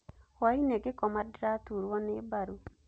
Hwainĩ ngĩkoma ndĩraturwo nĩ mbaru.